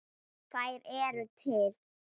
Þær eru til.